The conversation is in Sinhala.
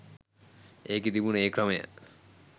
ඒකෙ තිබුණා ඒ ක්‍රමය